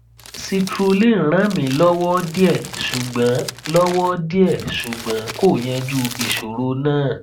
citrulline ràn mí lọwọ díẹ ṣùgbọn lọwọ díẹ ṣùgbọn kò yanjú ìṣòro náà